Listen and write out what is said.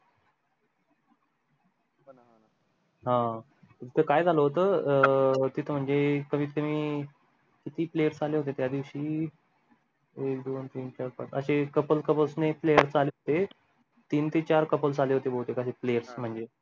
हा तेथे काय होत अं तेथें म्हणजे कमीत कमी किती players आले होते त्या दिवशी एक दोन तीन चार पाच अशे couple couples ने players आले ते तीन ते चार couples आले होते भवतेक अशे players म्हणजे